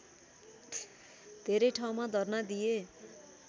धेरै ठाउँमा धर्ना दिए